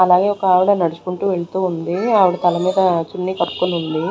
అలాగే ఒక ఆవిడ నడుచుకుంటూ వెళ్తూ ఉంది ఆవిడ తల మీద చున్నీ కప్పుకొని ఉంది.